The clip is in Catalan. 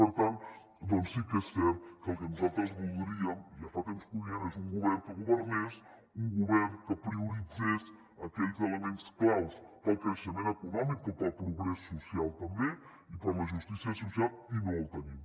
per tant doncs sí que és cert que el que nosaltres voldríem ja fa temps que ho diem és un govern que governés un govern que prioritzés aquells elements claus pel creixement econòmic però pel progrés social també i per la justícia social i no el tenim